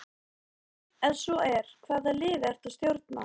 Ef svo er, hvaða liði ertu að stjórna?